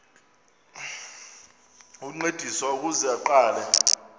ukuncediswa ukuze aqale